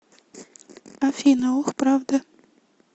афина ох правда